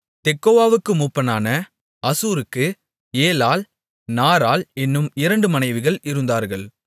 தெக்கோவாவுக்கு மூப்பனான அசூருக்கு ஏலாள் நாராள் என்னும் இரண்டு மனைவிகள் இருந்தார்கள்